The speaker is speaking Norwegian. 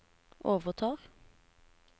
overtar